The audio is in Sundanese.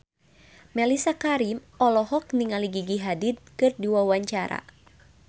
Mellisa Karim olohok ningali Gigi Hadid keur diwawancara